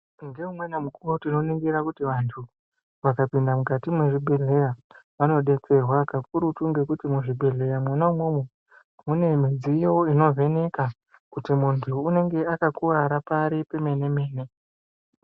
Ngeumweni mukuwo tinoningire kuti vantu vakapinde mukati mwezvibhedhleya vanodetserwa kakurutu ngekuti muzvibhedhleya mwona imwomwo mune midziyo inovheneka kuti muntu uyu unenge akakuwara pari pemene mene.